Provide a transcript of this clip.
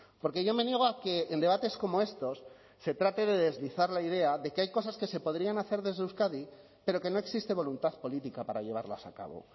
porque yo me niego a que en debates como estos se trate de deslizar la idea de que hay cosas que se podrían hacer desde euskadi pero que no existe voluntad política para llevarlas a cabo